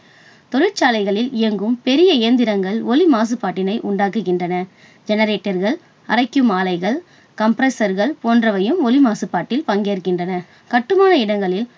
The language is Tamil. தொழிற்சாலைகளில் இயங்கும் பெரிய இயந்திரங்கள் ஒலி மாசுபாட்டினை உண்டாக்குகின்றன. generator கள், அரைக்கும் ஆலைகள் compressor கள் போன்றவையும் ஒலி மாசுபாட்டில் பங்கேற்கின்றன. கட்டுமான இடங்களில்